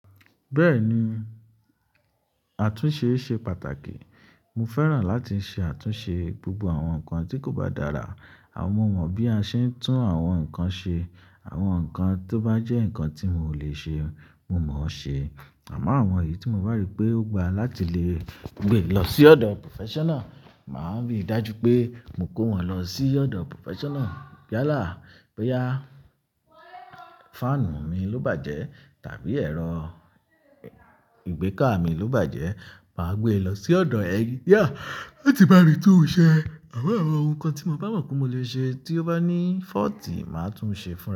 Bẹ́ẹ̀ni, àtúnṣe ṣe pàtàkì. Mo fẹ́ràn láti ṣe àtúnṣe gbogbo àwọn nǹkan tí kò bá dára. À mo mọ bí a ṣe ń tún àwọn nǹkan ṣe. Àwọn nǹkan tó bá jẹ́ nǹkan tí mo lè ṣe, mo mo ṣe. À mọ́ àwọn èyí tí mo bá rí pé ó gba láti lè gbé lọ sí ọ̀dọ̀ professional, màá rí dájú pé mo kó wọn lọ sí ọ̀dọ̀ professional. Ya la, bo ya, fáànù mi ló bàjẹ́ tàbí ẹ̀rọ ìgbékà mi ló bàjẹ́, màá gbé e lọ sí ọ̀dọ̀ ẹngineer lati bami tun ṣẹ́. Àmọn àwọn ohun kan tí mo bá mọ̀ pé mo lè ṣe tí ó bá ní fault, màá tún un ṣe fún ra.